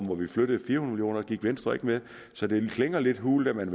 hvor vi flyttede fire hundrede gik venstre ikke med så det klinger lidt hult at man